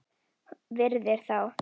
Virðir þá.